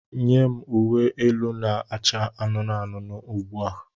Nye m uwe elu na-acha anụnụ anụnụ ugbu a!